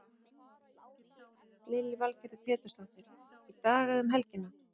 Lillý Valgerður Pétursdóttir: Í dag eða um helgina?